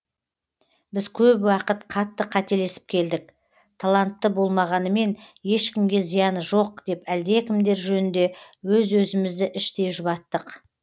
біз көп уақыт қатты қателесіп келдік талантты болмағанымен ешкімге зияны жоқ деп әлдекімдер жөнінде өз өзімізді іштей жұбаттық